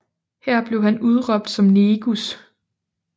Her blev han udråbt som negus